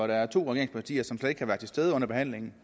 der er to regeringspartier som slet ikke kan være til stede under behandlingen